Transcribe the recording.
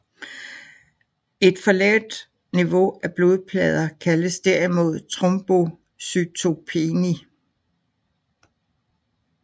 Et for lavt niveau af blodplader kaldes derimod trombocytopeni